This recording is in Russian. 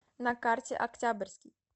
на карте октябрьский